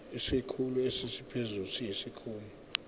isikhulu esiphezulu siyisikhulu